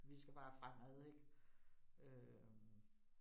Vi skal bare fremad ik øh